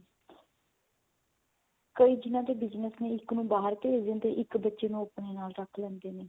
ਕਈ ਜਿਹਨਾ ਦੇ business ਨੇ ਇੱਕ ਨੂੰ ਬਾਹਰ ਭੇਜ ਦਿੰਦੇ ਨੇ ਇੱਕ ਬੱਚੇ ਨੂੰ ਆਪਣੇ ਨਾਲ ਰੱਖ ਲੈਂਦੇ ਨੇ